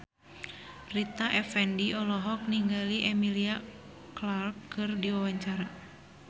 Rita Effendy olohok ningali Emilia Clarke keur diwawancara